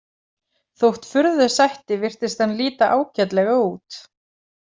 Þótt furðu sætti virtist hann líta ágætlega út.